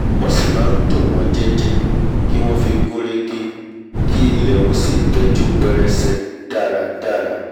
wọ́n sì máa ntò wọ́n jẹ́ẹ́jẹ́ kí wọ́n fi gún régé ki ilẹ̀ ọ̀hún sì tẹ́jú pẹrẹsẹ dáradára